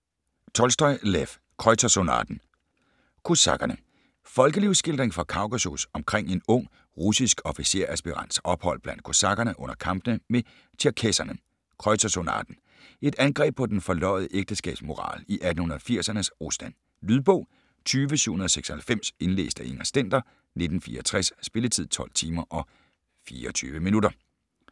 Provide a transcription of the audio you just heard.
Tolstoj, Lev: Kreutzersonaten Kosakkerne: Folkelivsskildring fra Kaukasus omkring en ung russisk officersaspirants ophold blandt kosakkerne under kampene med tjerkesserne. Kreutzersonaten: Et angreb på den forløjede ægteskabsmoral i 1880'ernes Rusland. Lydbog 20796 Indlæst af Inger Stender, 1964. Spilletid: 12 timer, 24 minutter.